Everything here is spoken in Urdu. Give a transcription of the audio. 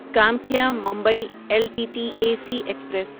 Kamakhya Mumbai L T T A C express